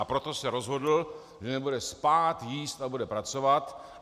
A proto se rozhodl, že nebude spát, jíst a bude pracovat.